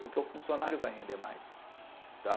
Porque o funcionário vai render mais. Tá?